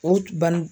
O banan